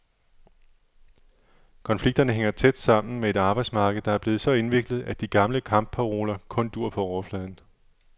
Konflikterne hænger tæt sammen med et arbejdsmarked, der er blevet så indviklet, at de gamle kampparoler kun duer på overfladen.